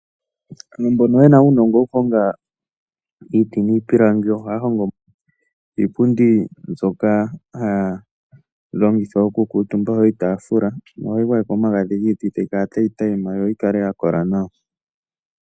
Aantu mbono yena uunongo wokuhonga iiti niipilangi, ohaa hongo iipundi nzoka haa longitha oku kuutumba iitafula. ohayi gwa yekwa omagadhi giiti tayi kala tayi tayima yo yikale ya kola nawa.